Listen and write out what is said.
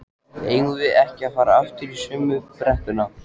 eigum við ekki að fara aftur í sömu brekkuna?